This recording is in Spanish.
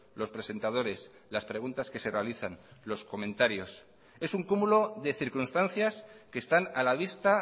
los presentadores las preguntas que se realizan los comentarios es un cúmulo de circunstancias que están a la vista